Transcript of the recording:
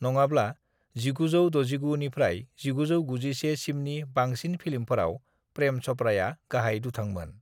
"नङाब्ला, 1969 निफ्राय 1991 सिमनि बांसिन फिल्मफोराव प्रेम चपड़ाया गाहाय दुथांमोन।"